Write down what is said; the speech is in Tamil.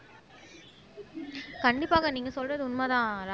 கண்டிப்பாக நீங்க சொல்றது உண்மைதான்